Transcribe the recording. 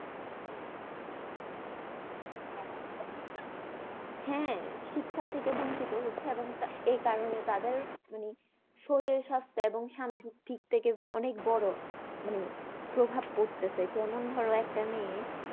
হ্যাঁ শিক্ষার থেকে বঞ্চিত হচ্ছে আগামী কা এই কারণে তাদের মানে শরীর স্বাস্থ্যে এবং সামাজিক দিক থেকে অনেক বড়ো মানে প্রভাব পড়তেছে যেমন ধরো একটা মেয়ে